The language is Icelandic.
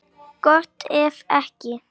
Gott ef ekki.